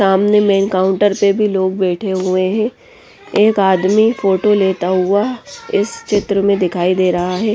सामने main counter पे भी लोग बैठे हुए हैं एक आदमी फोटो लेता हुआ इस चित्र में दिखाई दे रहा है।